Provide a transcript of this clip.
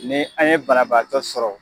Ni an ye bana baatɔ sɔrɔ